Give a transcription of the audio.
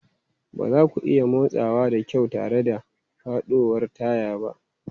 Ba za ku iya motsawa da kyau tare da faɗuwar taya ba.